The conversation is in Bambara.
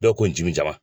Dɔw ko n jim